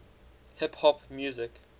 hip hop music